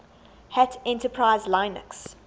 hat enterprise linux